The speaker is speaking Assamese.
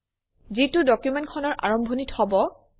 যিটো ডকুমেণ্টখনৰ আৰম্ভণিত হব